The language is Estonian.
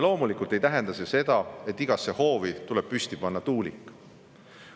Loomulikult ei tähenda see seda, et igasse hoovi tuleb püsti panna tuulik.